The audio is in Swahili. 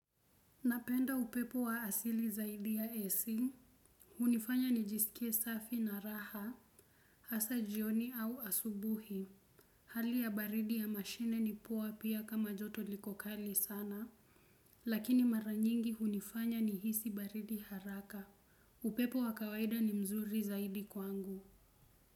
Napenda upepo wa asili zaidi ya AC. Hunifanya nijisikie safi na raha. Hasa jioni au asubuhi hali ya baridi ya mashine ni poa pia kama joto liko kali sana. Lakini mara nyingi hunifanya nihisi baridi haraka. Upepo wa kawaida ni mzuri zaidi kwangu.